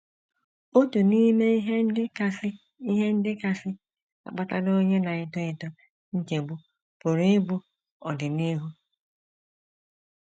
“ Otu n’ime ihe ndị kasị ihe ndị kasị akpatara onye na - eto eto nchegbu pụrụ ịbụ ọdịnihu.